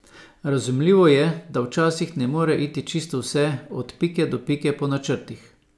Razumljivo je, da včasih ne more iti čisto vse od pike do pike po načrtih.